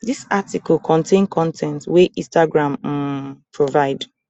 dis article contain con ten t wey instagram um provide